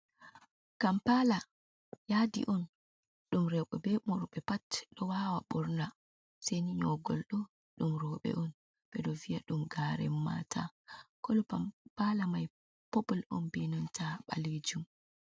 Kampala yadi on ɗum roɓe be worɓe pat ɗo wawa ɓorna seini nyogolɗo ɗum roɓe on ɓe ɗo viya ɗum garen mata kolo pampala mai popul on benanta ɓalejum.